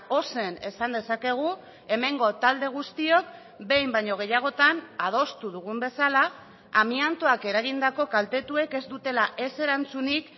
ozen esan dezakegu hemengo talde guztiok behin baino gehiagotan adostu dugun bezala amiantoak eragindako kaltetuek ez dutela ez erantzunik